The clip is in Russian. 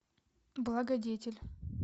благодетель